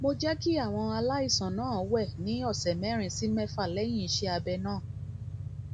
mo jẹ kí àwọn aláìsàn náà wẹ ní ọsẹ mẹrin sí mẹfà lẹyìn iṣẹ abẹ náà